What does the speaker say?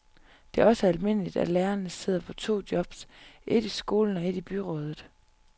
Det er også almindeligt, at lærerne sidder på to jobs, et i skolen og et i byrådet.